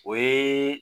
O ye